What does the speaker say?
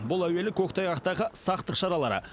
бұл әуелі көктайғақтағы сақтық шаралары